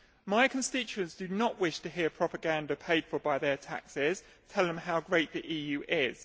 My constituents do not wish to hear propaganda, paid for by their taxes, telling them how great the EU is.